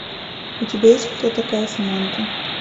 у тебя есть кто такая саманта